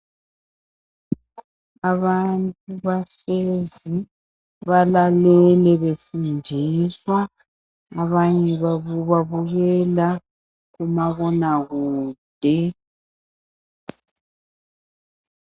Abantu bahlezi balalele befundiswa abanye babo babukela kumabonakude.